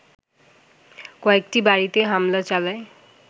কয়েকটি বাড়িতে হামলা চালায়